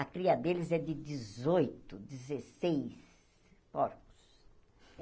A cria deles é de dezoito, dezesseis porcos.